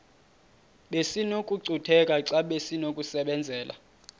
besinokucutheka xa besinokubenzela